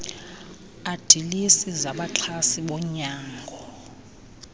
adilesi zabaxhasi bonyango